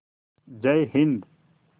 जय हिन्द